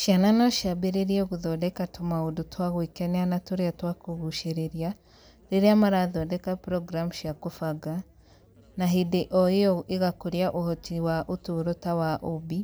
Ciana no ciambĩrĩrie gũthondeka tũmaũndũ twa gwĩkenia na tũrĩa twa kũgucĩrĩria rĩrĩa marathondeka programu cia kũbanga, na hĩndĩ o ĩyo igakũria ũhoti wa ũtũũro ta wa ũũmbi,